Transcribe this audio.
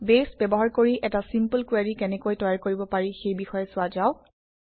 বেছ ব্যৱহাৰ কৰি এটা চিম্পল কুৱেৰি কেনেকৈ তৈয়াৰ কৰিব পাৰি সেই বিষয়ে চোৱা যাওক